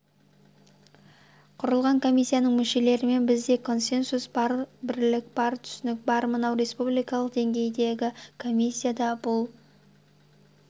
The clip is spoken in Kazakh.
құрылған комиссияның мүшелерімен бізде консенсус бар бірлік бар түсінік бар мынау республикалық деңгейдегі комиссия да бұл